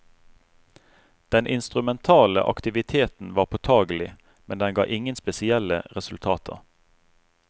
Den instrumentale aktiviteten var påtagelig, men den ga ingen spesielle resultater.